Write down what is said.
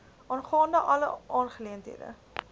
aangaande alle aangeleenthede